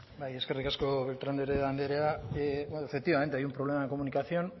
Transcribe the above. bai eskerrik asko beltran de heredia andrea efectivamente hay un problema de comunicación